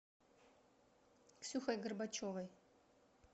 ксюхой горбачевой